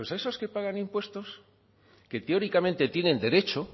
esos que pagan impuestos que teóricamente tienen derecho